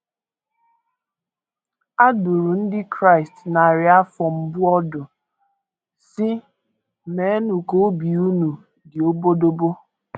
A dụrụ ndị Kraịst narị afọ mbụ ọdụ, sị: ‘ Meenụ ka obi unu dị obodobo ’!